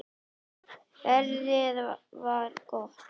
Veðrið var gott.